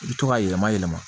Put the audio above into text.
I bɛ to k'a yɛlɛma yɛlɛma